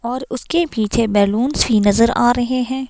और उसके पीछे बैलूंस भी नजर आ रहे हैं।